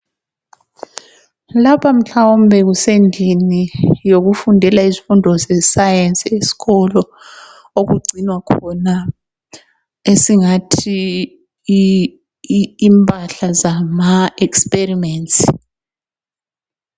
Lapha mhlawumbe kusendlini yokufundela izifundo ze Science esikolo okugcinwa khona esingathi yimpahla zama experiments.